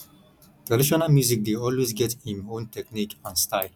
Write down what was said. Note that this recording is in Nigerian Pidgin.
traditional music dey always get im own technique and style